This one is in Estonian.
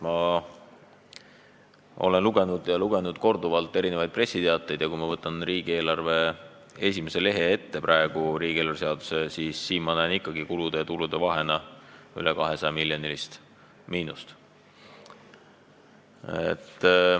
Ma olen korduvalt lugenud erinevaid pressiteateid ja kui ma võtan riigieelarve seaduse esimese lehe ette, siis ma näen, et kulude ja tulude vahe on rohkem kui 200-miljoniline miinus.